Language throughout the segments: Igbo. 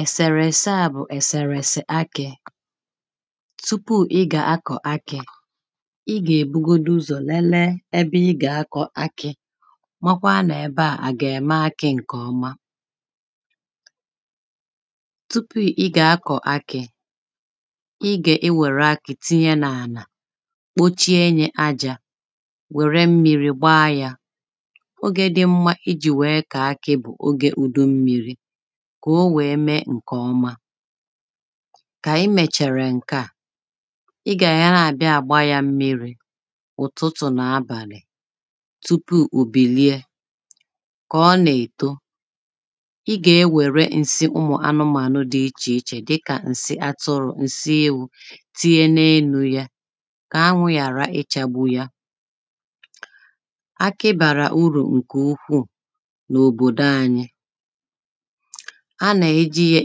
ẹ̀sèrẹ̀ ẹ̀sẹā bụ̀ ẹ̀sẹ̀rẹ̀ ẹ̀sẹ̀ akị̄ tụpụ ịgà akọ̀ akị̄ ịgà èbụgodụ ụzọ̀ nẹnẹẹ ẹbẹ ịgà akọ̀ akị̄ makwa nà-ẹbeà àgà ème akị̄ ǹkè ọma tụpụ ịgà akọ̀ akị̄ ịgà enwère akị̄ tinye nà-ànà kpochie enyē ajā wère mmirī gbaa ya ogē dị mmā ịjī wèe kọ̀ọ akị̄ bù ogē ùdụ mmirī kà o wèe mee ǹkè ọma kà ịmèchàrà ǹke à ịgà àyara àbịa àgba ya mmirī ụ̀tụtụ̀ nà-abànì tụpụ òbìlịe kàọọ nà-èto ịgà enwère ǹsị anụmānụ̄ dị ịchì ịchè dikà ǹsị atụrụ̄, ǹsị ewū tinye n’elū ya kà anwụ̄ yàra ịchāgbụ ya akị bàrà ụrù ǹkè ụkwụụ̀ n’òbòdò anyi anà ejī ya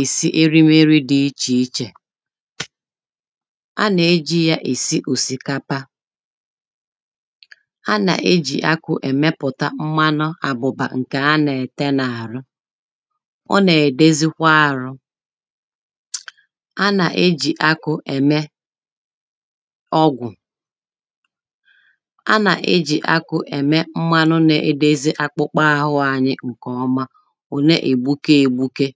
èsị erịmerị dị ịchì ịchè anà ejī ya èsị òsìkapa anà ejì akwụ̄ èmepùta mmanụ àbùbà ǹkè anà ète nà-àrụ ọnà ẹ̀dẹzikwa arụ anà ejì akwụ̄ ème ọgwù anà ejì akwụ̄ ẹ̀me mmanụ na-edezi akpukpa arụ anyi ǹkè ọma ònee ègbụke egbuke